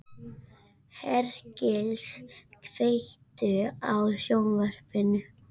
Hergils, kveiktu á sjónvarpinu.